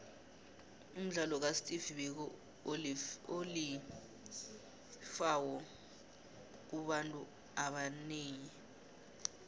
umdlalo kasteve biko uliflhawo kubantuabonenyi